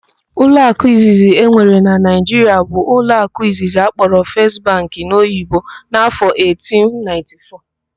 Ụlọakụ izizi enwere na Naịjiria bụ ụlọakụ Izizi akpọrọ 'First Bank' n'Oyibo n'afọ 1894.